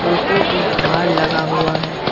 Photo पे हार लगा हुआ है।